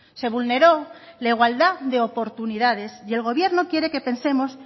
se vulneró la igualdad de oportunidades y el gobierno quiere que pensemos